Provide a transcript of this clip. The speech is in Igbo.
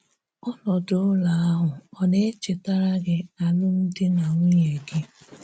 Ọ̀nọdụ̀ ụlọ̀ ahụ ọ̀ na-echétara gị álụ́mdi na nwunye gị?